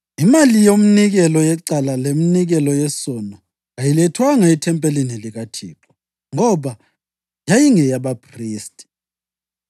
Imali yeminikelo yecala leminikelo yesono kayilethwanga ethempelini likaThixo ngoba yayingeyabaphristi.